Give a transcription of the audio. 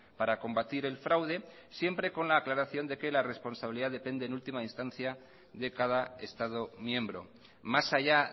para combatir el fraude siempre con la aclaración de que la responsabilidad depende en última instancia de cada estado miembro más allá